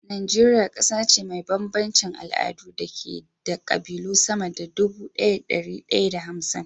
Najeriya ƙasa ce mai bambancin al'adu da ke da ƙabilu sama da dubu ɗaya da dari ɗaya da hamsin